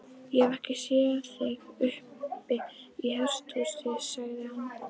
Ég hef ekkert séð þig uppi í hesthúsi, sagði hann.